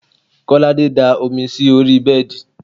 Kolade da omi sí orí bẹ́ẹ̀dì